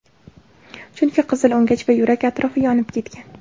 Chunki qizil o‘ngach va yurak atrofi yonib ketgan.